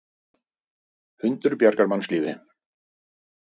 Hundur bjargar mannslífi